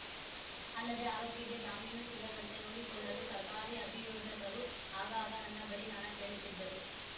ಅಲ್ಲದೆ ಆರೋಪಿಗೆ ಜಾಮೀನು ಸಿಗದಂತೆ ನೋಡಿಕೊಳ್ಳಲು ಸರ್ಕಾರಿ ಅಭಿಯೋಜಕರು ಆಗಾಗ ನನ್ನ ಬಳಿ ಹಣ ಕೇಳುತ್ತಿದ್ದರು